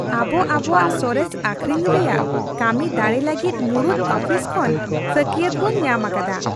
ᱟᱵᱚ ᱟᱵᱚᱣᱟᱜ ᱥᱚᱨᱮᱥ ᱟᱹᱠᱷᱨᱤᱧ ᱨᱮᱭᱟᱜ ᱠᱟᱹᱢᱤ ᱫᱟᱲᱮ ᱞᱟᱹᱜᱤᱫ ᱢᱩᱲᱩᱫ ᱟᱯᱷᱤᱥ ᱠᱷᱚᱱ ᱥᱟᱹᱠᱤᱭᱟᱛ ᱵᱚᱱ ᱧᱟᱢ ᱟᱠᱟᱫᱟ ᱾